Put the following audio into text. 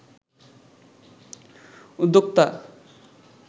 উদ্যোক্তা